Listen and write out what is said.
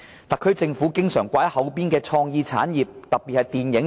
特區政府經常掛在口邊的是創意產業，特別是電影業。